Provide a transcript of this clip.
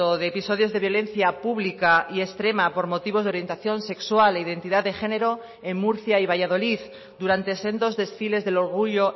de episodios de violencia pública y extrema por motivos de orientación sexual e identidad de género en murcia y valladolid durante sendos desfiles del orgullo